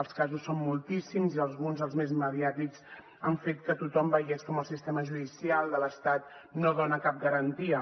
els casos són moltíssims i alguns els més mediàtics han fet que tothom veiés com el sistema judicial de l’estat no dona cap garantia